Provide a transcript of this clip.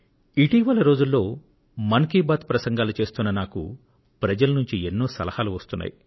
ఇటీవలి రోజుల్లో మనసులో మాట మన్ కీ బాత్ ప్రసంగాలు చేస్తున్న నాకు ప్రజల నుండి ఎన్నో సలహాలు వస్తున్నాయి